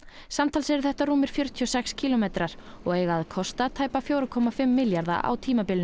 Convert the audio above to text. samtals eru þetta rúmir fjörutíu og sex kílómetrar og eiga að kosta tæpa fjóra komma fimm milljarða á tímabilinu